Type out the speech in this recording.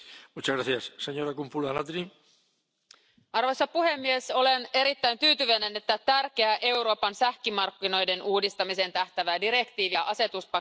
Arvoisa puhemies, olen erittäin tyytyväinen, että tärkeä Euroopan sähkömarkkinoiden uudistamiseen tähtäävä direktiivi ja asetuspaketti on hyväksytty tänään laajalla enemmistöllä.